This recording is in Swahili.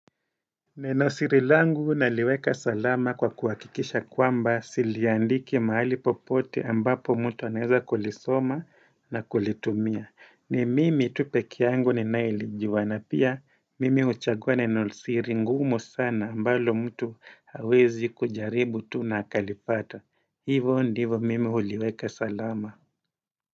Neno siri langu naliweka salama kwa kuwakikisha kwamba siliandiki mahali popote ambapo mtu aneza kulisoma na kulitumia. Ni mimi tupekee yangu ni naye lijua na Pia mimi uchagua neno siri ngumu sana ambalo mtu hawezi kujaribu tu na akalipata. Hivo ndivo mimi uliweka salama.